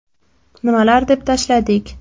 Nimalar deb tashladik?